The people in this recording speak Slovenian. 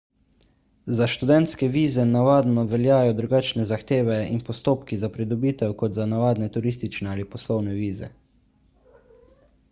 za študentske vize navadno veljajo drugačne zahteve in postopki za pridobitev kot za navadne turistične ali poslovne vize